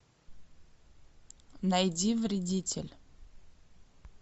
найди вредитель